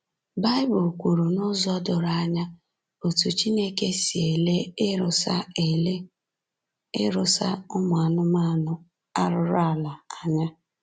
Bible kwuru n’ụzọ doro anya otú Chineke si ele ịrụsa ele ịrụsa ụmụ anụmanụ arụrụala anya